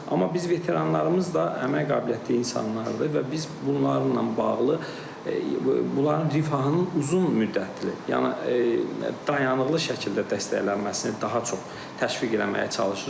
Amma biz veteranlarımız da əmək qabiliyyətli insanlardır və biz bunlarla bağlı bunların rifahının uzun müddətli, yəni dayanıqlı şəkildə dəstəklənməsini daha çox təşviq etməyə çalışırıq